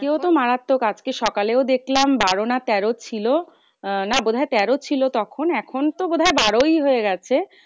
মারাত্তক আজকে সকালে দেখলাম বারো না তেরো ছিল। না বোধহয় তেরো ছিল তখন এখন তো বোধয় বারই হয়ে গেছে।